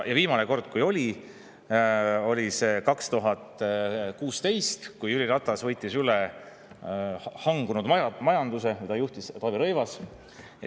Viimane kord oli 2016. aastal, kui Jüri Ratas võttis üle hangunud majanduse, mida juhtis Taavi Rõivas.